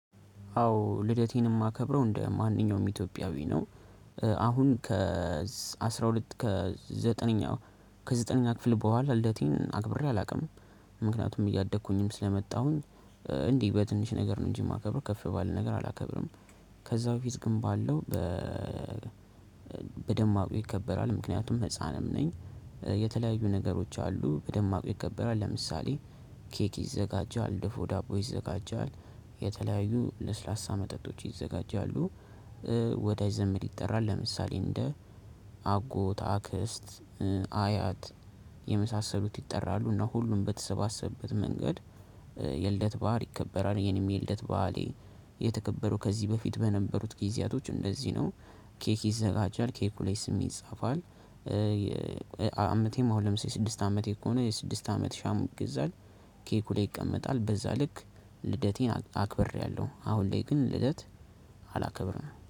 አዎ ልደቴን ማከብረው እንደ ማንኛውም ኢትዮጵያዊ ነው። አሁን ከ አስራ ሁለት ከ ዘጠነኛ፣ ከዘጠነኛ ክፍል በኋላ ልደቴን አክብሬ አላውቅም፤ ምክንያቱም እያደኩኝም ስለመጣሁኝ እንዲህ በትንሽ ነገር ነው እንጂ የማከብረው ከፍ ባለ ነገር አላከብርም። ከዛ በፊት ግን ባለው በ በደማቁ ይከበራል፤ ምክንያቱም ህፃንም ነኝ። የተለያዩ ነገሮች አሉ በደማቁ ይከበራል ለምሳሌ፦ ኬክ ይዘጋጃል፣ ድፎ ዳቦ ይዘጋጃል፣ የተለያዩ ለስላሳ መጠጦች ይዘጋጃሉ ወዳጅ ዘመድ ይጠራል ለምሳሌ፦ እንደ አጎት፣ አክስት፣ አያት የመሳሰሉት ይጠራሉ፤ እና ሁሉም በተሰባሰበበት መንገድ የልደት በዓል ይከበራል። የኔም የልደት በዓሌ የተከበው ከዚህ በፊት በነበሩት ጊዜያቶች እንደዚህ ነው። ኬክ ይዘጋጃል ኬኩ ላይ ስሜ ይፃፋል፣ አመቴም አሁን ለምሳሌ ስድስት አመቴ ከሆነ የስድስት አመት ሻማ ይገዛል፤ ኬኩ ላይ ይቀመጣል በዛ ልክ ልደቴን አክብሬያለሁ አሁን ላይ ግን ልደት አላከብርም።